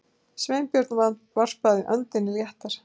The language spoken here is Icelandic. Sveinbjörn varpaði öndinni léttar.